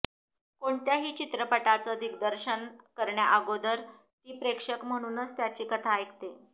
कोणत्याही चित्रपटाचं दिग्दर्शन करण्याअगोदर ती प्रेक्षक म्हणूनच त्याची कथा ऐकते